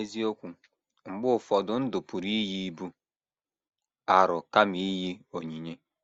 N’eziokwu,, mgbe ụfọdụ ndụ pụrụ iyi ibu arọ kama iyi onyinye.